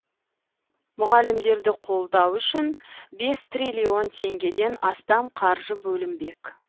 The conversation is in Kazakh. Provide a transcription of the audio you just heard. мұғалімдерді қолдау үшін бес триллион теңгеден астам қаржы бөлінбек